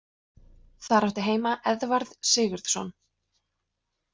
Þar átti heima Eðvarð Sigurðsson.